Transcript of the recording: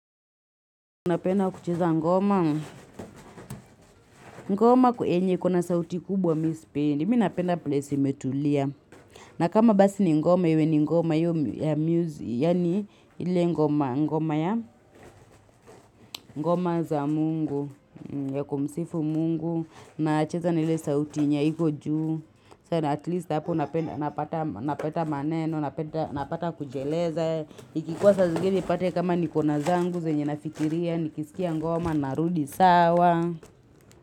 Una penda kucheza ngoma, ngoma yenye ikona sauti kubwa mi sipendi, mi napenda place imetulia. Na kama basi ni ngoma, iwe ni ngoma, yue ni ngoma, yue ni ngoma, yue ni ngoma za mungu, ya kumsifu mungu. Nacheza na ile sauti yenye haiko juu. At least hapo napata maneno, napata kujieleza. Ikikuwa sa zingine ipate kama niko na zangu, zenye nafikiria, nikisikia ngoma, narudi sawa.